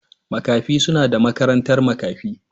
Makafi suna da makarantar makafi.